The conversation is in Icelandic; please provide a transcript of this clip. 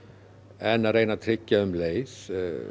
en að reyna að tryggja um leið